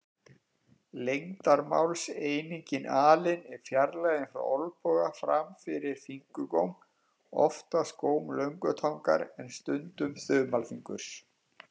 Lengdarmálseiningin alin er fjarlægðin frá olnboga fram fyrir fingurgóm, oftast góm löngutangar en stundum þumalfingurs.